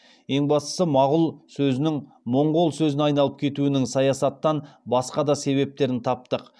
ең бастысы мағұл сөзінің моңғол сөзіне айналып кетуінің саясаттан басқа да себептерін таптық